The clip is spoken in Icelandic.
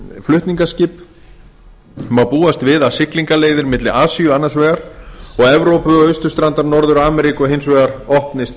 flutningaskip má búast við að siglingaleiðir milli asíu annars vegar og evrópu austurstrandar norður ameríku hins vegar opnist